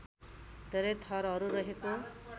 धेरै थरहरू रहेको